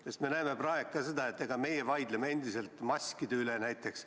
Sest me näeme praegu seda, et meie näiteks vaidleme endiselt maskide üle.